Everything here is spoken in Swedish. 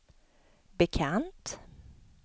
bekant